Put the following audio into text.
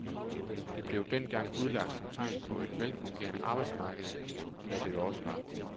Det blev dengang udlagt som tegn på et velfungerende arbejdsmarked, hvad det jo også var.